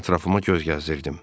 Ətrafıma göz gəzdirdim.